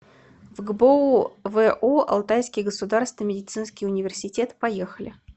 фгбоу во алтайский государственный медицинский университет поехали